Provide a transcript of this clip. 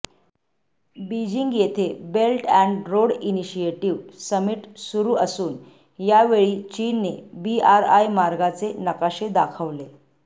Beijing येथे belt and road initiative summit सुरू असून यावेळी चीनने बीआरआय मार्गांचे नकाशे दाखवले